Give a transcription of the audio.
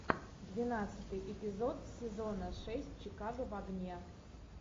двенадцатый эпизод сезона шесть чикаго в огне